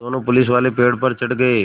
दोनों पुलिसवाले पेड़ पर चढ़ गए